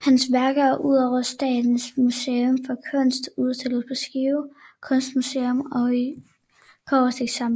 Hans værker er ud over Statens Museum for Kunst udstillet på Skive Kunstmuseum og i Kobberstiksamlingen